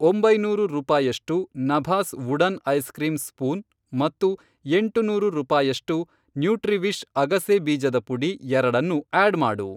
ಒಂಬೈನೂರು ರೂಪಾಯಷ್ಟು ನಭಾಸ್ ವುಡನ್ ಐಸ್ ಕ್ರೀಂ ಸ್ಪೂನ್ ಮತ್ತು ಎಂಟುನೂರು ರೂಪಾಯಷ್ಟು ನ್ಯೂಟ್ರಿವಿಷ್ ಅಗಸೆ ಬೀಜದ ಪುಡಿ ಎರಡನ್ನೂ ಆಡ್ ಮಾಡು.